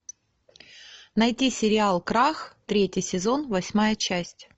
найти сериал крах третий сезон восьмая часть